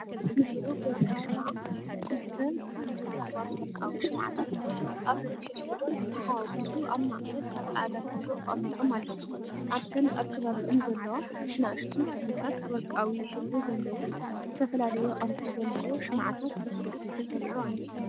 ንብሩህ ወርቂ ሽምዓ (ሽምዓ)፣ክልተ ጽምዲ ውቁባት ወርቃዊ ሽምዓታት፡ ኣብ ነንሕድሕዶም ዝተሓዋወሱ፡ ኣብ ማእከል ኣብ ጻዕዳ ሳንዱቕ ተቐሚጦም ኣለዉ። ኣብተን ኣብ ከባቢአን ዘለዋ ንኣሽቱ ክፍልታት፡ ወርቃዊ ሕብሪ ዘለዎ ዝተፈላለየ ቅርጺ ዘለዎ ሽምዓታት ብጽፉፍ ተሰሪዑ ኣሎ።